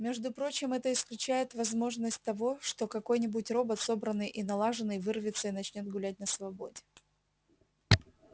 между прочим это исключает возможность того что какой-нибудь робот собранный и налаженный вырвется и начнёт гулять на свободе